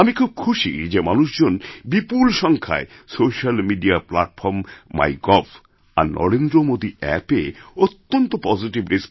আমি খুব খুশি যে মানুষজনবিপুল সংখ্যায় সোশ্যাল মিডিয়া প্ল্যাটফর্ম মাইগভ আর নরেন্দ্রমোদী অ্যাপএঅত্যন্ত পজিটিভ